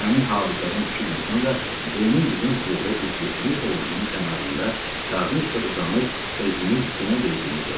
Həmin hadisədən iki gün sonra Ceynin bizim klubda üzgüçülük hovuzunun kənarında qarnı üstə uzanıb özünü günə verdiyini gördüm.